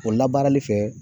O labaarali fɛ